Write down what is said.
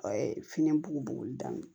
A ye fini bulu daminɛ